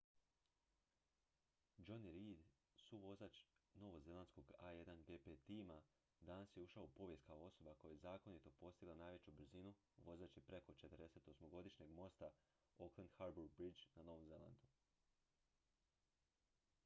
jonny reid suvozač novozelandskog a1gp tima danas je ušao u povijest kao osoba koja je zakonito postigla najveću brzinu vozeći preko 48-godišnjeg mosta auckland harbour bridge na novom zelandu